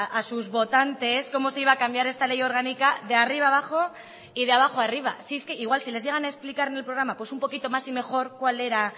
a sus votantes cómo se iba a cambiar esta ley orgánica de arriba a abajo y de abajo a arriba si es que igual si les llegan explicar en el programa pues un poquito más y mejor cuál era